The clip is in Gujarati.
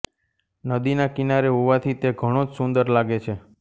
નદીનાં કિનારે હોવાથી તે ઘણોં જ સુંદર લાગે છે